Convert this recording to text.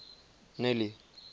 nelly